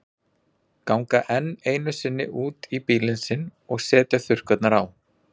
Ganga enn einu sinni út í bílinn sinn og setja þurrkurnar á.